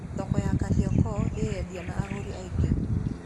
Thoko ya Kariokor ĩĩ endia na agũri aingĩ.